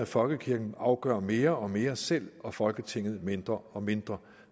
folkekirken afgør mere og mere selv og folketinget mindre og mindre